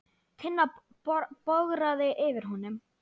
Tinna bograði yfir honum.